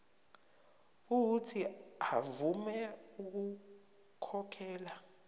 uuthi avume ukukhokhela